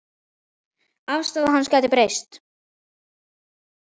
Afstaða hans gæti breyst.